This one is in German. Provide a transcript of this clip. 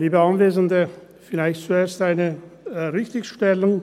Vielleicht zuerst eine Richtigstellung.